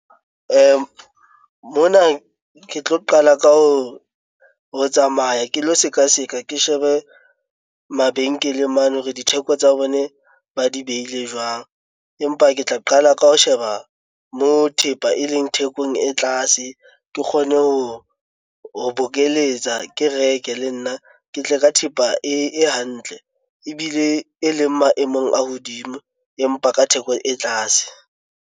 Mona ke tlo qala ka ho tsamaya ke lo seka seka, ke shebe mabenkeleng mane hore ditheko tsa bone ba di beile jwang. Empa ke tla qala ka ho sheba mo thepa e leng thekong e tlase ke kgone ho bokeletsa ke reke le nna ke tle ka thepa e hantle ebile e leng maemong a hodimo, empa ka theko e tlase.